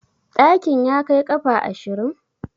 Ɗakin ya kai ƙafa ashirin?